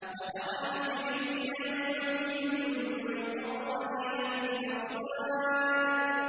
وَتَرَى الْمُجْرِمِينَ يَوْمَئِذٍ مُّقَرَّنِينَ فِي الْأَصْفَادِ